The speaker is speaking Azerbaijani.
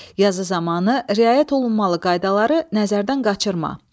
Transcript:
Yazı zamanı riayət olunmalı qaydaları nəzərdən qaçırma.